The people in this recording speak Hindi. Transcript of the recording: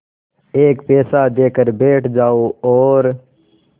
एक पैसा देकर बैठ जाओ और